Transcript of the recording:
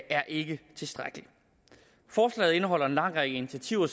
er ikke tilstrækkeligt forslaget indeholder en lang række initiativer